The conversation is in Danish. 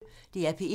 DR P1